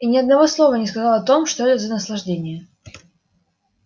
и ни одного слова не сказал о том что это за наслаждение